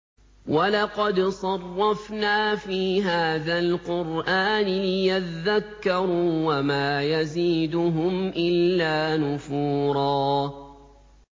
وَلَقَدْ صَرَّفْنَا فِي هَٰذَا الْقُرْآنِ لِيَذَّكَّرُوا وَمَا يَزِيدُهُمْ إِلَّا نُفُورًا